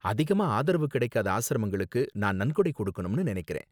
அதிகமா ஆதரவு கிடைக்காத ஆஸ்ரமங்களுக்கு நான் நன்கொடை கொடுக்கணும்னு நினைக்கறேன்.